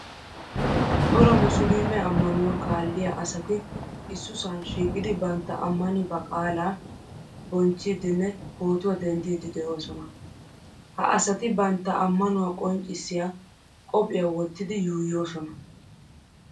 Cora muslume amanuwa kaaliyaa asati issusan shiiqidi bantta amani baqala bonchchidnne pootuwaa denddidi deosona. Ha asatibantta amanuwaa qonccisiya qophphiyaa wottidi yuuyosona.